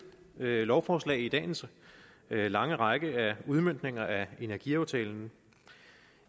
lovforslag i dagens lange række af udmøntninger af energiaftalen